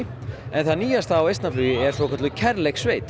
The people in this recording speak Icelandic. en það nýjasta á er svokölluð